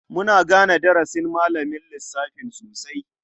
Muna gane darasin malamin lissafin sosai.